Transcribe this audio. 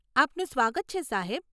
આપનું સ્વાગત છે, સાહેબ.